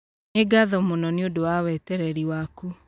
Nĩ ngatho mũno nĩ ũndũ wa wetereri waku.